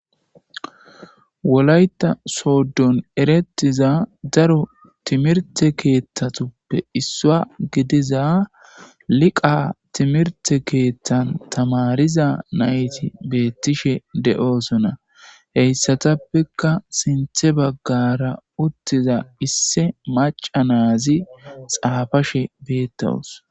wolayta sooddon eretiza daro timirte keeththatuppe issua gidiza liqa timirte keeththan tamariza nayti beettishe de7oosona heyssatappeka sinthe baggara uttiza isse maca naazi xaafashe beettawus